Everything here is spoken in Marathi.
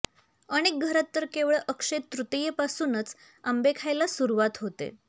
अनेक घरात तर केवळ अक्षय तृतीयेपासूनच आंबे खायला सुरुवात होते